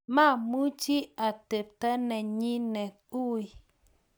mamuchi atebto nenyine ui